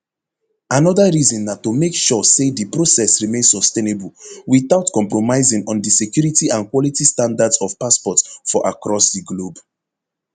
anoda reason na to make sure say di process remain sustainable witout compromising on di security and quality standards of passports for across di globe